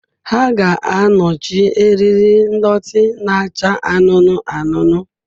Ha ga-anọchi eriri ndọtị na-acha anụnụ anụnụ.